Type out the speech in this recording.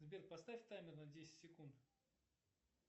сбер поставь таймер на десять секунд